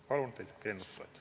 Palun teid eelnõu toetada!